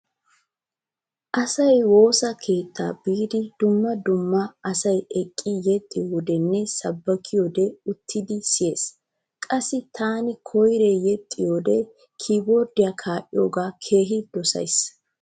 Asay woosa keetta biidi dumma dumma asay eqqidi yexxiyodenne sabbakiyode uttidi siyees. Qassi taani koyree yexxiyode kiiborddiya kaa'iyogaa keehi dosays.